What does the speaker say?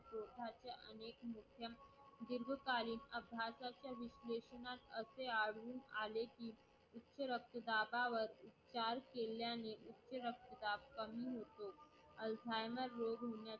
दीर्घकाळ अभ्यासात असे आढळून आले कि उच्च रक्तदाबावर उपचार केल्याने उच्च रक्तदाब कमी होतो Excimer रोगमध्ये